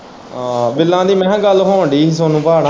ਆਹ ਬਿਲਾਂ ਦੀ ਮੈਂ ਕਹਿ ਹੋਣ ਦੀ ਹੀ ਸੋਨੂੰ ਭਾ ਨਾਲ।